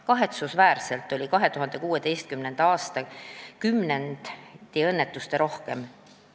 Kahetsusväärselt oli 2016. aasta kümnendi õnnetusterohkeim.